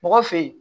Mɔgɔ fe yen